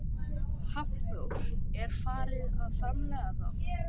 Hafþór: Er farið að framleiða þá?